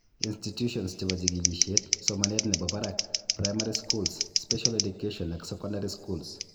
Institutions chebo jikilisiet, somanet nebo barak, primary schools, special education ak secondary schools